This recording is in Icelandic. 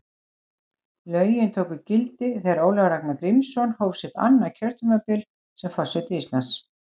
Lögin tóku gildi þegar Ólafur Ragnar Grímsson hóf sitt annað kjörtímabil sem forseti Íslands.